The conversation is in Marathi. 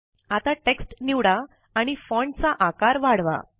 आता टेक्स्ट निवडा आणि फॉन्ट चा आकार वाढवा